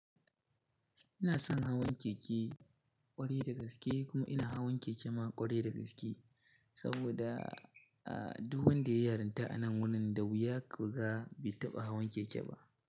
Ina son hawan keke ƙwarai da gaske kuma ina hawan keke ma ƙwarai da gaske saboda a duk wanda ya yaranta a nan wurin da wuya ka ga bai taɓa hawan keke ba.